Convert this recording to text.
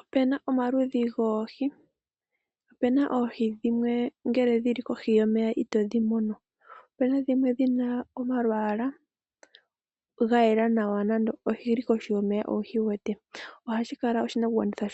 Opena omaludhi goohi opena oohi dhimwe ngele dhili kohi yomeya itodhimono opena oohi dhimwe dhina omalwala gayela nawa kutya oyili koshi yomeya owuhiwete. Ohashi kala oshinakugwanitha